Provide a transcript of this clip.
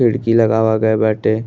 खिड़की लगावा गए बाटे।